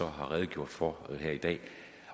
har redegjort for her i dag